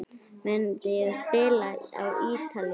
Myndi ég spila á Ítalíu?